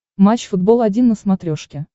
матч футбол один на смотрешке